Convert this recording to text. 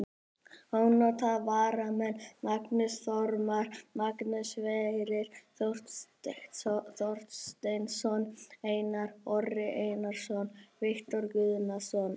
Ónotaðir varamenn: Magnús Þormar, Magnús Sverrir Þorsteinsson, Einar Orri Einarsson, Viktor Guðnason.